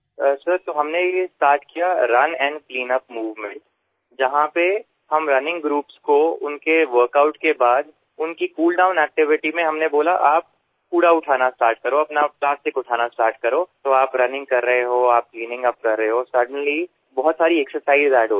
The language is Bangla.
স্যার আমরা শুরু করলাম রান এন্ড ক্লিনআপ মুভমেন্ট যেখানে আমরা দৌড়ের দলগুলোকে তাদের ওয়ার্কআউট এরপরে কুলডাউন এক্টিভিটি সময় বললাম যে আপনারা আবর্জনা তোলা শুরু করুন প্লাস্টিক তোলা শুরু করুনতাহলেএকদিকে যেমন দৌড় চলছে অন্যদিকে সাফাইএর কাজ চলছে আর হঠাৎ করেই অনেকগুলো ব্যায়াম একসঙ্গে যোগ হয়ে যাচ্ছে